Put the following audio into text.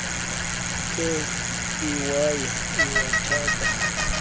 nkee iwaya iwathaka